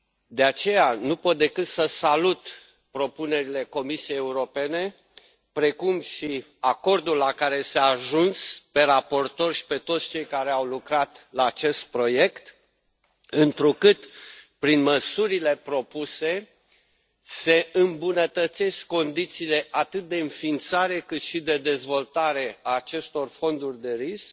De aceea, nu pot decât să salut propunerile Comisiei Europene, precum și acordul la care s a ajuns, pe raportor și pe toți cei care au lucrat la acest proiect, întrucât, prin măsurile propuse, se îmbunătățesc condițiile atât de înființare, cât și de dezvoltare a acestor fonduri de risc,